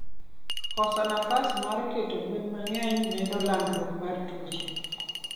Kosos nafas mar keto gwen mangeny medo landruok mar tuoche